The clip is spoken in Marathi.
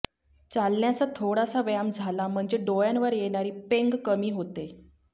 चालण्याचा थोडासा व्यायाम झाला म्हणजे डोळ्यावर येणारी पेंग कमी होते